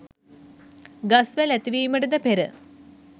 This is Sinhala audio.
ගස් වැල් ඇතිවීමටද පෙර